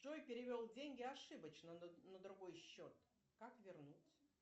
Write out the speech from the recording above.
джой перевел деньги ошибочно на другой счет как вернуть